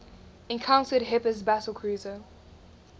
encountered hipper's battlecruiser